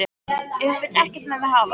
Ef hún vill ekkert með mig hafa?